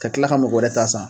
Ka tila ka mɔgɔ wɛrɛ ta san